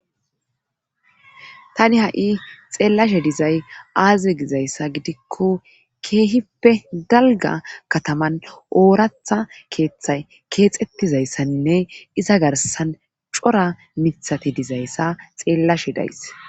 Tani ha'i xeellashe dizay aaze gizayssa gidikko keehippe galga kataman ooratha keeththay keexettizayssaninne iza garsan cora mithati dizayssa xeellashe days.